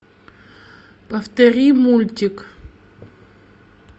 повтори мультик